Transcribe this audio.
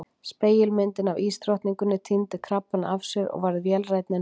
Spegilmyndin af ísdrottninguni týndi krabbana af sér og varð vélrænni en fyrr.